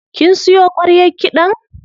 Kin siyo ƙwaryar kiɗan?